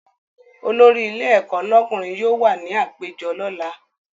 Olórí ilé ẹ̀kọ́ lọ́kùnrin yóò wà ní àpéjọ lọ́la